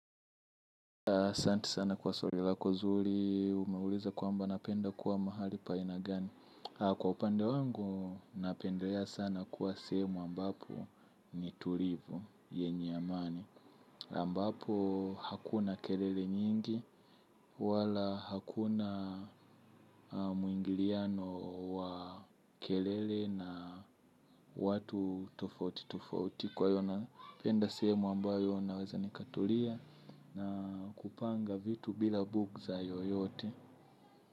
Asanti sana kwa swali lako zuri, umeuliza kwamba napenda kuwa mahali pa aina gani. Kwa upande wangu napendelea sana kuwa sehemu ambapo ni tulivu yenye amani ambapo hakuna kelele nyingi wala hakuna mwingiliano wa kelele na watu tofauti tofauti kwa hiyo napenda sehemu ambayo naweza nikatulia na kupanga vitu bila bugtha yoyote.